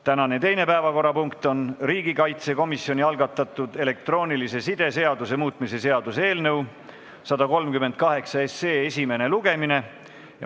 Tänane teine päevakorrapunkt on riigikaitsekomisjoni algatatud elektroonilise side seaduse muutmise seaduse eelnõu 138 esimene lugemine.